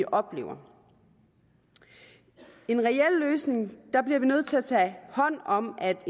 oplever i en reel løsning bliver vi nødt til at tage hånd om at